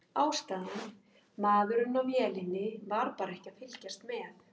Ástæðan: Maðurinn á vélinni var bara ekki að fylgjast með.